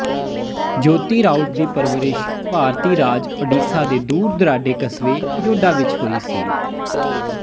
ਜਯੋਤੀ ਰਾਉਤ ਦੀ ਪਰਵਰਿਸ਼ ਭਾਰਤੀ ਰਾਜ ਓਡੀਸ਼ਾ ਦੇ ਦੂਰ ਦੁਰਾਡੇ ਕਸਬੇ ਜੋਡਾ ਵਿੱਚ ਹੋਈ ਸੀ